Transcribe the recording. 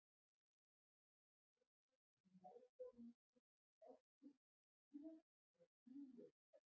Stöðugleiki í veðrahvolfinu skiptir því oft upp í tvö eða þrjú lög.